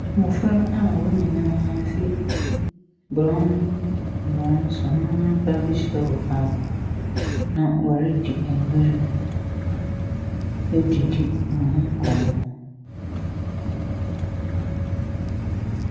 Mmɔfra a wɔn nyinaa fi borɔn borɔn so na wɔreba abɛhyiawɔ faako, na wɔredi agoru. Wɔredidi wɔn ho nkɔmmɔ.